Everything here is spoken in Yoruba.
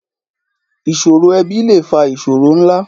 Ìṣòro ẹbí lè fa ìṣòro ńlá.